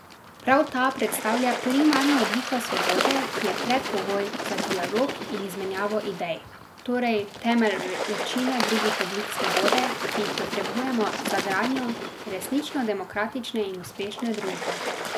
Prav ta predstavlja primarno obliko svobode, ki je predpogoj za dialog in izmenjavo idej, torej temelj večine drugih oblik svobode, ki jih potrebujemo za gradnjo resnično demokratične in uspešne družbe.